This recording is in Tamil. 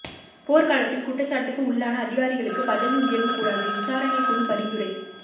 போர்க் காலத்தில் குற்றச்சாட்டுக்கு உள்ளான அதிகாரிகளுக்கு பதவி உயர்வு கூடாது விசாரணைக் குழு பரிந்துரை